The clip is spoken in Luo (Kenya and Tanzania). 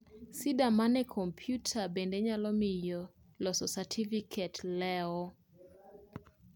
sida mag komputa bende nyalo miyo loso satifiket mar oleo